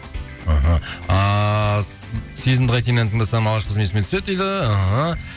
іхі ааа сезімді қайтейін әнін тыңдасам алғашқы қызым есіме түседі дейді іхі